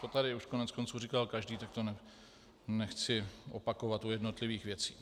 To tady už koneckonců říkal každý, tak to nechci opakovat u jednotlivých věcí.